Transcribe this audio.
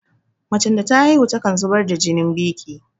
Macen da ta haihu takan zubar da jinin biƙi